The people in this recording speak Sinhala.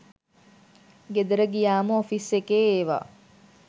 ගෙදර ගියාම ඔෆිස් එකේ ඒවා